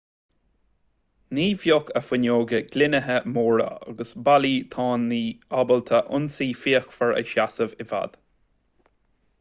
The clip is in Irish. ní bheadh a fuinneoga gloinithe móra agus ballaí tanaí ábalta ionsaí fíochmhar a sheasamh i bhfad